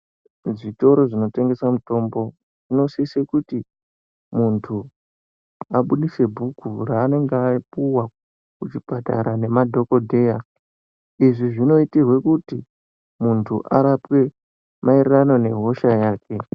Zvitoro zvinotengeswe mutombo zvinosise kuti munhu abudise bhuku raanenge apuwa nemadhokodheya kuchipatara izvi zvinoitirwe kuti muntu arapwe maererano nehosha yake.